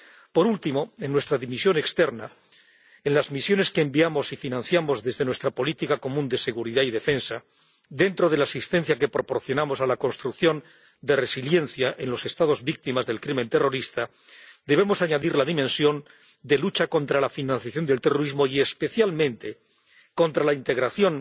Por último, en nuestra dimensión externa, en las misiones que enviamos y financiamos desde nuestra política común de seguridad y defensa, dentro de la asistencia que proporcionamos a la construcción de resiliencia en los Estados víctimas del crimen terrorista, debemos añadir la dimensión de la lucha contra la financiación del terrorismo y, especialmente, contra la integración